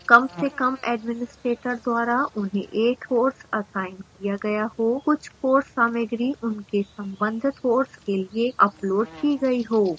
कम से कम administrator द्वारा उन्हें एक course असाइन किया गया हो